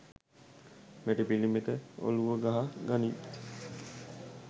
මැටි පිලිමෙක ඔලුව ගහ ගනින්!